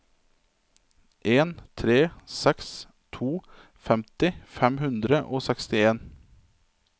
en tre seks to femti fem hundre og sekstien